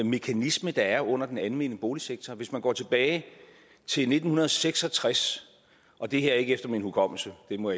mekanisme der er under den almene boligsektor hvis man går tilbage til nitten seks og tres og det her er ikke efter min hukommelse det må